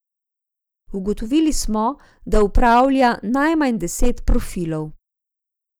Ugotovili smo, da upravlja najmanj deset profilov.